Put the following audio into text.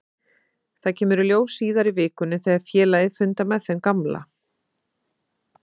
Það kemur í ljós síðar í vikunni þegar félagið fundar með þeim gamla.